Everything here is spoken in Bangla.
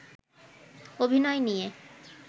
অভিনয় নিয়ে